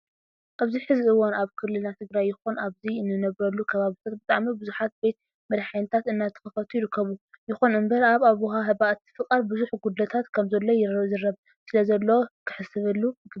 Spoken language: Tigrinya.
ኣብዚ ሕዚ እዋን ኣብ ክልልና ትግራይ ይኹን ኣብዚ እንነብረሉ ከባቢታት ብጣዕሚ ብዙሓት ቤት መድሓኒታትእናተኸፈቱ ይርከቡ። ይኹን እምበር ኣብ ኣወሃህባ እቲ ፍቃድ ብዙሕ ጉድለታት ከም ዘሎ ይዝረብ ስለዘሎ ክህሰበሉ ይግባእ።